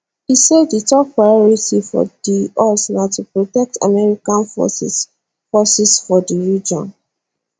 e say di top priority for di us na to protect american forces forces for di region